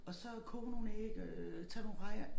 Og så koge nogle æg øh tage nogle rejer